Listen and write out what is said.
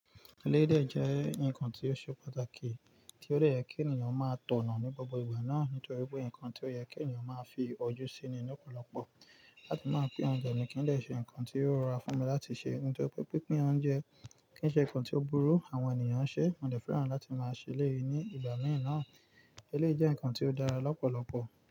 Eleyi dẹ̀ jẹ́ ǹkan tó ṣe pàtàkì, tí ó dẹ̀ yẹ kí ènìyàn máa tọ̀nà ní gbogbo ìgbà náà nítorí pé ǹkan tí ó yẹ kí ènìyàn máa fi ojú síi ni lọ́pọ̀lọpọ̀. Láti máa pín oúnjẹ ni kì n dẹ̀ ṣe ǹkan tí yóò rọrùn fún mi láti ṣe. Nítorí pé pinpín oúnjẹ kì í ṣe ǹkan tó burú àwọn ènìyàn n ṣe, mo dẹ̀ fẹ́ràn láti máa ṣẹ lẹ̀yi ní ìgbà mìí naa. Eleyi jẹ́ ǹkan tí ó dára lọ́pọ̀lọpọ̀